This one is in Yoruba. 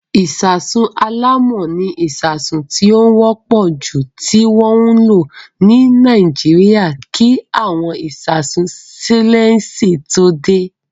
Ìṣasùn alámọ̀ ni ìṣasùn tí ó wọ́pọ̀ jù tí wọ́n ń lò ní Nàíjíríà kí àwọn ìṣasùn sítéélẹ́ǹsì tó dé.